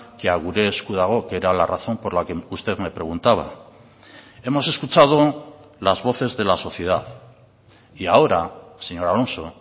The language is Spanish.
que a gure esku dago que era la razón por la que usted me preguntaba hemos escuchado las voces de la sociedad y ahora señor alonso